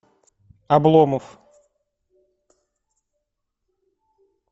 обломов